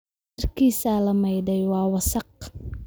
Dharkiisii ​​la maydhay waa wasakh